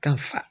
Ka fa